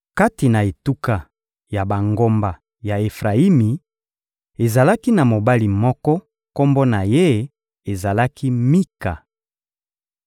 Kati na etuka ya bangomba ya Efrayimi, ezalaki na mobali moko; kombo na ye ezalaki «Mika.»